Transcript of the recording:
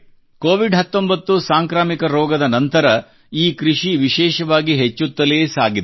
Covid 19 ಸಾಂಕ್ರಮಿಕ ರೋಗದ ನಂತರ ಈ ಕೃಷಿ ವಿಶೇಷವಾಗಿ ಹೆಚ್ಚುತ್ತಲೇ ಸಾಗಿದೆ